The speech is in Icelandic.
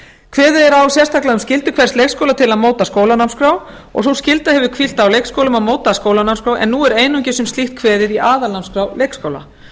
kveðið er á sérstaklega um skyldur hvers leikskóla til að móta skólanámskrá og sú skylda hefur hvílt á leikskólum að móta skólanámskrá en nú er einungis um slíkt kveðið í aðalnámskrá leikskóla